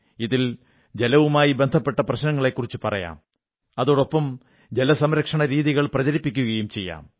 ഇതിൽ ജലവുമായി ബന്ധപ്പെട്ട പ്രശ്നങ്ങളെക്കുറിച്ചു പറയാം അതോടൊപ്പം ജലസംരക്ഷണരീതികൾ പ്രചരിപ്പിക്കയും ചെയ്യാം